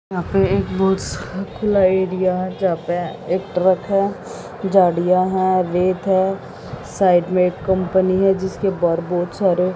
यहां पे एक बस और खुला एरिया है यहां पे एक ट्रक है झाड़ियां हैं रेत है साइड में एक कंपनी है जिसके बाहर बहुत सारे--